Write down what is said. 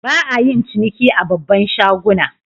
Ba'a yin ciniki a babban shaguna.